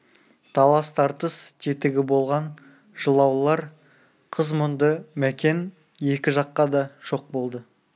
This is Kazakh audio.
талас-тартыс тетігі болған жылаулар қыз мұңды мәкен екі жаққа да жоқ болды